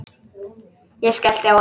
Ég skellti á hann.